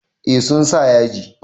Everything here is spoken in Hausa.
Eh sun sa yaji.